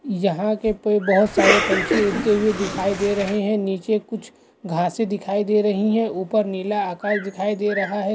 यहाँ के पे बहोत सारे पंछी उड़ते हुए दिखाई दे रहे हैंनीचे कुछ घासें दिखाई दे रही हैंऊपर नीला आकाश दिखाई दे रहा है।